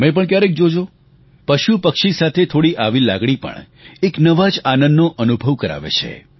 તમે પણ ક્યારેક જોજો પશુપક્ષી સાથે થોડી આવી પણ લાગણી એક નવા જ આનંદનો અનુભવ કરાવે છે